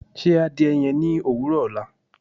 Ṣé àdìẹ̀ yẹn ni owurọ ọla